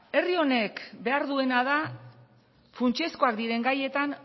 herri honek behar duena da funtsezkoak diren gaietan